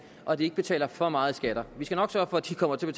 og at de ikke betaler for meget i skat vi skal nok sørge for at de kommer til at